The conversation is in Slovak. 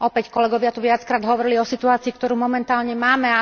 Kolegovia tu opäť viackrát hovorili o situácii, ktorú momentálne máme.